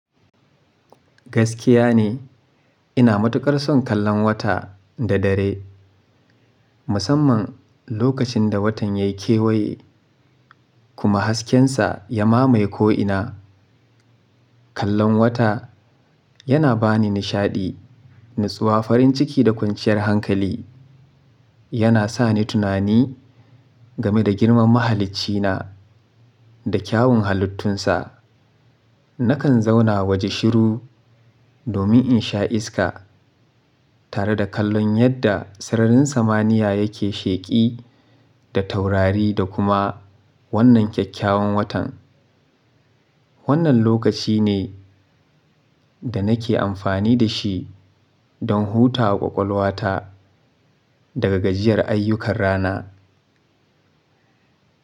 Gaskiya ne ina matuƙar son kallon wata da dare, musamman lokacin da watan ya yi kewaye kuma haskensa ya mamaye ko'ina. Kallon wata yana ba ni nishaɗi, natsuwa, farin ciki da kwanciyar hankali. Yana sa ni tunani game da girman mahaliccina da kyawun halittunsa. Nakan zauna waje shiru domin in sha iska tare da kallon yadda sararin samaniya yake sheƙi da taurari da kuma wannan kyakkyawan watan. Wannan lokaci ne da nake amfani da shi don hutawa ƙwaƙwalwata daga gajiyar ayyukan rana.